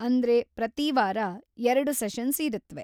ಅಂದ್ರೆ ಪ್ರತಿವಾರ ಎರಡು ಸೆಷನ್ಸ್ ಇರತ್ವೆ.